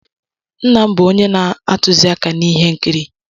Nna m bụ onye na-atụziaka n'ihe nkiri.